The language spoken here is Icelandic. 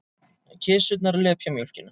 Kisurnar lepja mjólkina.